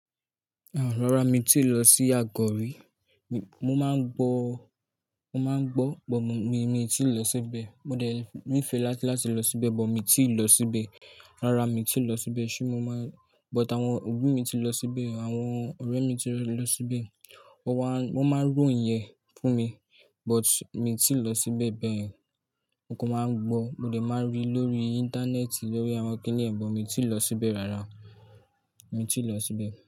Rárá mi tíì lọ sí Àgọ̀ rí. Mo máa ń gbọ́, mo máa ń gbọ́ bọ̀ mi, mi tíì lọ síbẹ̀. Mo dé nífẹ̀ẹ́ láti lọ síbẹ̀ bọ̀ mi tíì lọ síbẹ̀. Rárá mi tíì lọ síbẹ̀ ṣùgbọ́n mo máa-- but àwọn òbí mi ti lọ síbẹ̀, àwọn ọ̀rẹ́ mi ti lọ síbẹ̀. Wọ́n máa ń ròhìn yẹn fún mi but mi tíì lọ síbẹ̀ bẹ́ẹ̀. Mo kan máa ń gbọ́. Mo dè máa rí lórí Íńtánẹ́ẹ̀tì lórí àwọn kìnnìyàn but mi tíì lọ síbẹ̀ rárá. Mi tíì lọ síbẹ̀